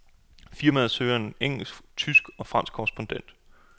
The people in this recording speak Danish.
Firmaet søger en engelsk, tysk og fransk korrespondent.